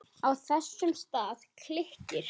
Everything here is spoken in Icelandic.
Á þessum stað klykkir